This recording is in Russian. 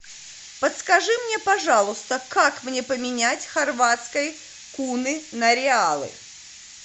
подскажи мне пожалуйста как мне поменять хорватские куны на реалы